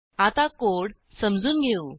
आता कोड समजून घेऊ